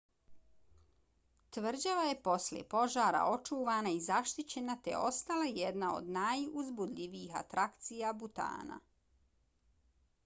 tvrđava je posle požara očuvana i zaštićena te je ostala jedna od najuzbudljivijih atrakcija butana